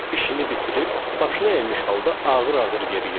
İşini bitirib, başı əyimiş halda ağır-ağır yeriyirdi.